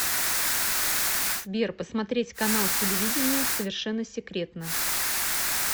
сбер посмотреть канал телевидения совершенно секретно